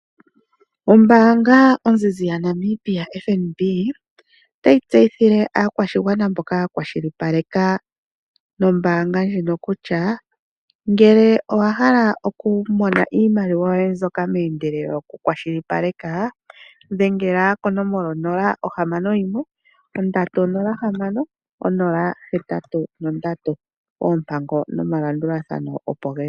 Ombaanga ozizi yaNamibia FNB, otayi tseyithile aakwashigwana mboka ya kwashilipaleka nombaanga ndjino kutya, ngele owa hala oku mona iimaliwa yoye mbyoka meendelele yokukwashilipaleka, dhengela konomola 061306083, oompango nomalandulathano opo geli.